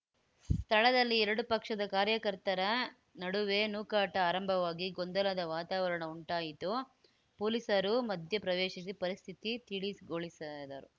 ಸ್ಥಳದಲ್ಲಿ ಎರಡು ಪಕ್ಷದ ಕಾರ್ಯಕರ್ತರ ನಡುವೆ ನೂಕಾಟ ಆರಂಭವಾಗಿ ಗೊಂದಲದ ವಾತಾವರಣ ಉಂಟಾಯಿತು ಪೊಲೀಸರು ಮಧ್ಯ ಪ್ರವೇಶಿಸಿ ಪರಿಸ್ಥಿತಿ ತಿಳಿಗೊಳಿಸದರು